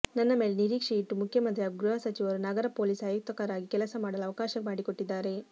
ನನ್ನ ಮೇಲೆ ನಿರೀಕ್ಷೆ ಇಟ್ಟು ಮುಖ್ಯಮಂತ್ರಿ ಹಾಗೂ ಗೃಹ ಸಚಿವರು ನಗರ ಪೊಲೀಸ್ ಆಯುಕ್ತರಾಗಿ ಕೆಲಸ ಮಾಡಲು ಅವಕಾಶ ಮಾಡಿಕೊಟ್ಟಿದ್ದಾರೆ